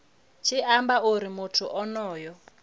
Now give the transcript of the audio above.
tshi amba uri muthu onoyo